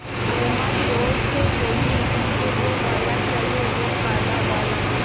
अम्मा ज़ोर से बोलीं मुझे वो वाला चाहिए वो काला वाला